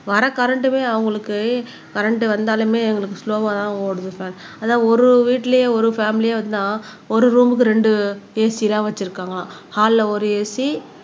வர கரண்டுமே அவங்களுக்கு கரண்ட் வந்தாலுமே எங்களுக்கு ஸ்லொவ்வாதான் ஓடுது இப்ப அதான் ஒரு வீட்டுலயே ஒரு பேமிலி இருந்தா ஒரு ரூம்க்கு ரெண்டு AC எல்லாம் வச்சிருக்காங்க ஹால்ல ஒரு AC